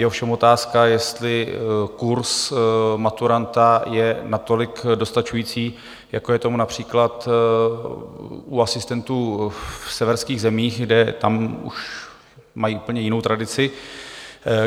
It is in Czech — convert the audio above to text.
Je ovšem otázka, jestli kurz maturanta je natolik dostačující, jako je tomu například u asistentů v severských zemích, kde tam už mají úplně jinou tradici.